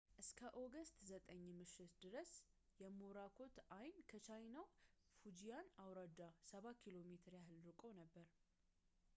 እስከ ኦገስት 9 ምሽት ድረስ የሞራኮት ዐይን ከቻይናው ፉጂያን አውራጃ ሰባ ኪሎ ሜትር ያህል ርቆ ነበር